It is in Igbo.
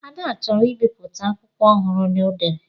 Ada chọrọ ibipụta akwụkwọ ọhụrụ o dere.